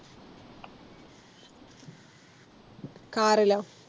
Car law